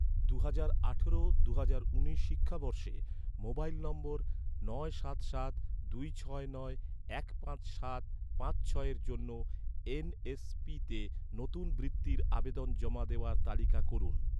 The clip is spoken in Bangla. দুহাজার আঠারো দুহাজার উনিশ শিক্ষাবর্ষে, মোবাইল নম্বর নয় সাত সাত দুই ছয় নয় এক পাঁচ সাত পাঁচ ছয়ের জন্য এন.এস.পিতে নতুন বৃত্তির আবেদন জমা দেওয়ার তালিকা করুন